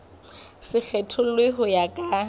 se kgethollwe ho ya ka